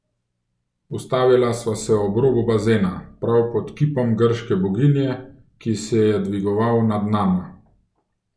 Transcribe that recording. Ustavila sva se ob robu bazena, prav pod kipom grške boginje, ki se je dvigoval nad nama.